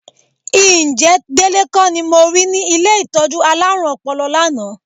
Ǹjẹ́ Délé kọ́ ni mo rí ní ilé ìtọ́jú alárùn ọpọlọ lánàá?